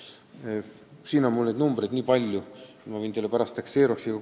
Mul on neid numbreid siin nii palju, et ma võin teile pärast Xeroxiga koopia teha.